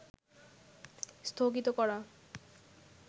স্থগিত করা